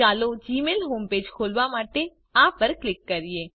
ચાલો Gmail home page ખોલવા માટે આ પર ક્લિક કરીએ